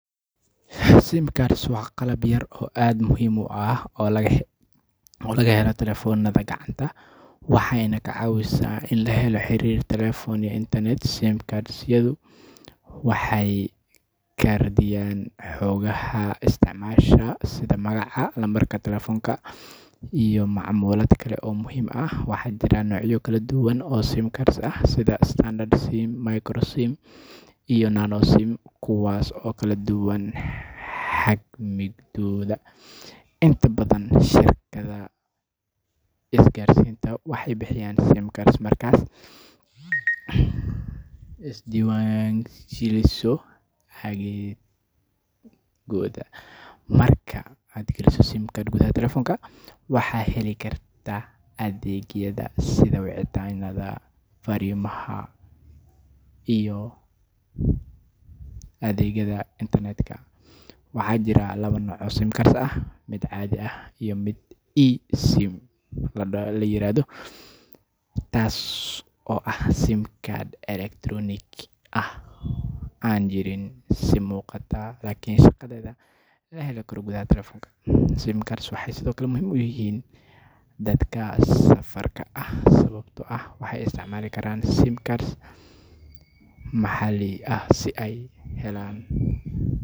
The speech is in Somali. Sim cards waa qalab yar oo aad muhiim u ah oo laga helo taleefannada gacanta, waxayna ka caawisaa in la helo xiriir telefoon iyo internet. Sim card-yadu waxay kaydiyaan xogaha isticmaalaha sida magaca, lambarka telefoonka, iyo macluumaad kale oo muhiim ah. Waxaa jira noocyo kala duwan oo sim cards ah sida Standard SIM, Micro SIM, iyo Nano SIM, kuwaas oo kala duwan xajmigooda. Inta badan shirkadaha isgaarsiinta waxay bixiyaan sim card markaad isdiiwaangeliso adeegooda. Marka aad geliso sim card gudaha taleefanka, waxaad heli kartaa adeegyada sida wicitaanada, fariimaha, iyo adeegga internetka. Waxaa jira laba nooc oo sim cards ah: mid caadi ah iyo mid eSIM la yiraahdo, taas oo ah sim card elektaroonik ah oo aan jirin si muuqata laakiin shaqadeeda laga heli karo gudaha taleefanka. Sim cards waxay sidoo kale muhiim u yihiin dadka safarka ah, sababtoo ah waxay isticmaali karaan sim card maxalli ah si ay u helaan.